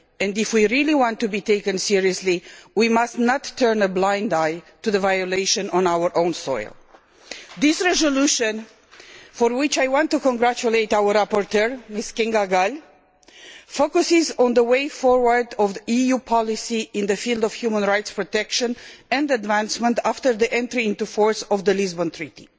If we really want to be taken seriously, we must not turn a blind eye to human rights violations on our own soil. This resolution, for which I want to congratulate our rapporteur, Ms Gál, focuses on the way forward for EU policy in the field of human rights protection and advancement after the entry into force of the Lisbon Treaty.